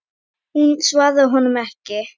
Hún svarar honum ekki.